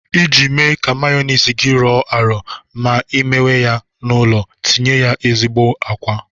Iji mee ka meyoniz gi rọọ arọ ma ị mewe ya n'ụlọ, tinye ya ezigbo àkwá.